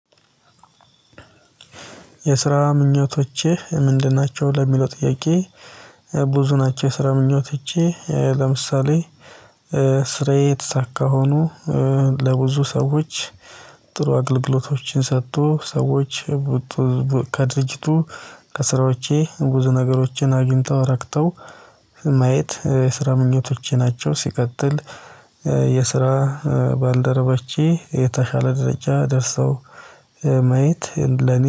የስራ ምኞቶቼ ምንድን ናቸው ለሚለው ጥያቄ። ብዙ ናቸው ስራ ምኞች ይቺ ለምሳሌ። ስራዬ ተሳካ ሆኖ ለብዙ ሰዎች ጥሩ አገልግሎቶችን ሰጥቶ ሰዎች ከድርጅቱ ከስራዎቼ ብዙ ነገሮችን አጁንተው ረክተው ማየት የስራ ምኞቶቼ ናቸው። ሲቀጥል የስራ ባልደረበቼ የተሻለ ደረጃ ደርሰው ማየት ለኔ